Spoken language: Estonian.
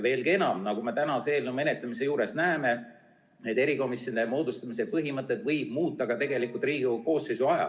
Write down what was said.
Veelgi enam, nagu me tänase eelnõu menetlemisel näeme, võib erikomisjonide moodustamise põhimõtteid muuta ka Riigikogu koosseisu ajal.